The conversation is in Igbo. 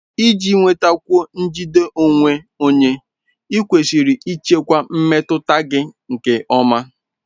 Iji nwetakwuo njide onwe onye, ​​ịkwesịrị ịchịkwa mmetụta gị nke ọma.